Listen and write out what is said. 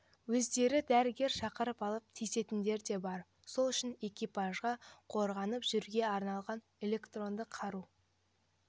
өздері дәрігер шақырып алып тиісетіндер де бар сол үшін экипажға қорғанып жүруге арналған электронды қару